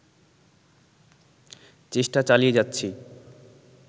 চেষ্টা চালিয়ে যাচ্ছি